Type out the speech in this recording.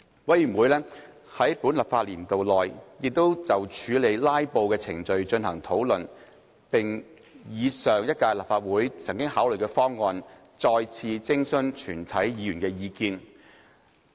委員會在本立法年度內亦就處理"拉布"的程序進行討論，並以上屆立法會曾考慮的方案，再次徵詢全體議員的意見。